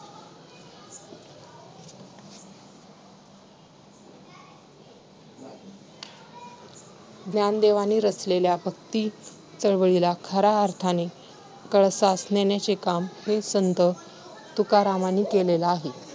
ज्ञानदेवांनी रचलेल्या भक्ती चळवळीला खऱ्या अर्थाने कळसास नेण्याचे काम हे संत तुकारामांनी केलेले आहे.